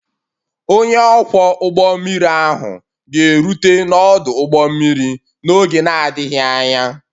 Onye ọkwọ ụgbọ mmiri ahụ ga-erute n'ọdụ ụgbọ mmiri n'oge na-adịghị anya